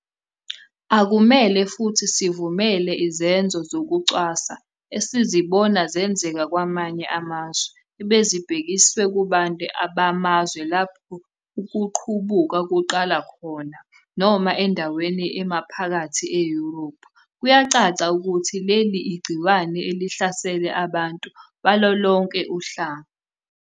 Akumele futhi sivumele izenzo zokucwasa esizibone zenzeka kwamanye amazwe ebezibhekiswe kubantu bamazwe lapho ukuqubuka kuqale khona noma endaweni emaphakathi e-Europe. Kuyacaca ukuthi leli igciwane elihlasela abantu balolonke uhlanga.